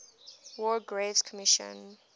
war graves commission